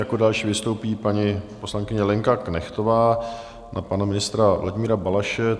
Jako další vystoupí paní poslankyně Lenka Knechtová na pana ministra Vladimíra Balaše.